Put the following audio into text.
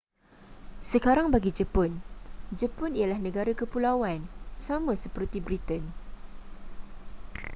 sekarang bagi jepun jepun ialah negara kepulauan sama seperti britain